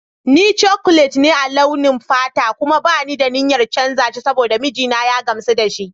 Ni Chocolate ne a launin fata kuma ba ni da niyyar canza shi saboda mijina ya gamsa da shi.